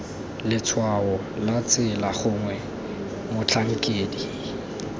letshwao la tsela gongwe motlhankedi